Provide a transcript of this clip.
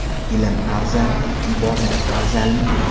Ilm afzalmi, ibodat afzalmi?